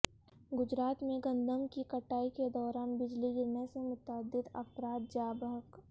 گجرات میں گندم کی کٹائی کے دوران بجلی گرنے سے متعدد افراد جاں بحق